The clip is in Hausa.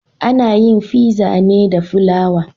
Ana yin Fizza ne da fulawa